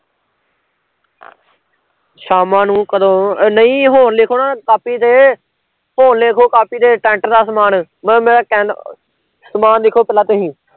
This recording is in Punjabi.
ਸ਼ਾਮਾ ਨੂੰ ਕਦੋਂ, ਨਹੀਂ ਹੁਣ ਲਿਖੋ ਨਾ ਕਾਪੀ ਤੇ ਹੁਣ ਲਿਖੋ ਕਾਪੀ ਤੇ tent ਦਾ ਸਮਾਨ, ਬ ਮੈਂ ਕਹਿ ਸਮਾਨ ਲਿਖੋ ਪਹਿਲਾਂ ਤੁਸੀਂ